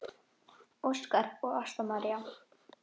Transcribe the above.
Óskar og Ásta María.